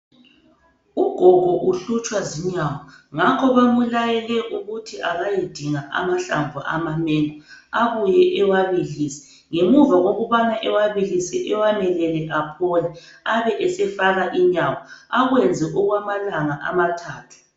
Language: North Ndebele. Ugogo uhlutshwa zinyawo ngakho bamulayele ukuthi akayedinga amahlamvu ama mengo abuye ewabilise ngemuva kokubana ewabilise ewamelele aphole abe esefaka inyawo akwenze okwamalanga amathathu.